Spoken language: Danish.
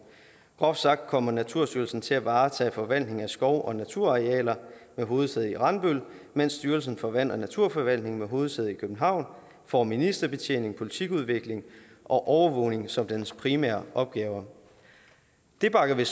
groft sagt kommer naturstyrelsen til at varetage forvaltning af skov og naturarealer med hovedsæde i randbøl mens styrelsen for vand og naturforvaltning med hovedsæde i københavn får ministerbetjening politikudvikling og overvågning som dens primære opgaver det bakker vi